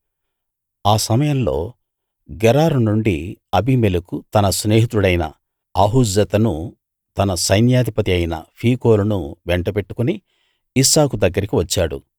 ఆ సమయంలో గెరారు నుండి అబీమెలెకు తన స్నేహితుడైన ఆహుజ్జతునూ తన సైన్యాధిపతి అయిన ఫీకోలునూ వెంటబెట్టుకుని ఇస్సాకు దగ్గరికి వచ్చాడు